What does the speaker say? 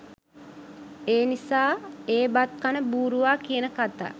එනිසා ඒ බත් කන බූරුවා කියන කතා